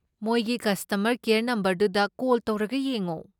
ꯃꯣꯏꯒꯤ customer care ꯅꯝꯕꯔꯗꯨꯗ call ꯇꯧꯔꯒ ꯌꯦꯡꯉꯣ꯫